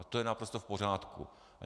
A to je naprosto v pořádku.